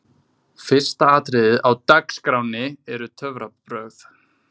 Fyrsta atriðið á DAGSKRÁNNI eru töfrabrögð.